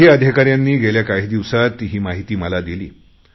काही अधिकाऱ्यांनी गेल्या काही दिवसात ही माहिती मला दिली